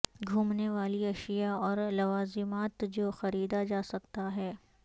گھومنے والی اشیاء اور لوازمات جو خریدا جا سکتا ہے